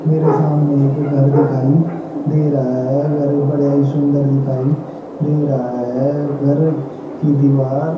मेरे सामने एक घर दिखाई दे रहा है घर बड़ा ही सुंदर दिखाई दे रहा है घर की दीवार--